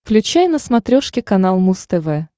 включай на смотрешке канал муз тв